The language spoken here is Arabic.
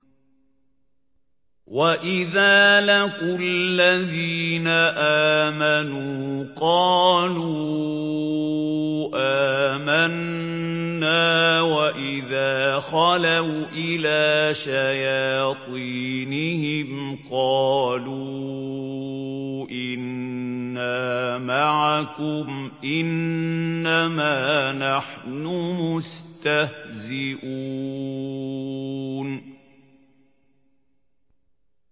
وَإِذَا لَقُوا الَّذِينَ آمَنُوا قَالُوا آمَنَّا وَإِذَا خَلَوْا إِلَىٰ شَيَاطِينِهِمْ قَالُوا إِنَّا مَعَكُمْ إِنَّمَا نَحْنُ مُسْتَهْزِئُونَ